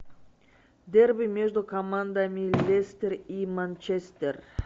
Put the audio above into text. дерби между командами лестер и манчестер